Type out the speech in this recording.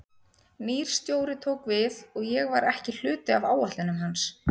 Nýr stjóri tók við og ég var ekki hluti af áætlunum hans.